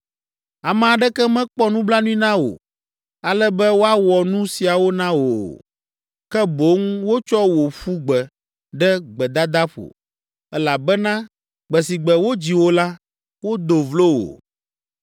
Ame aɖeke mekpɔ nublanui na wò, ale be woawɔ nu siawo na wò o; ke boŋ wotsɔ wò ƒu gbe ɖe gbedadaƒo, elabena gbe si gbe wodzi wò la, wodo vlo wò.’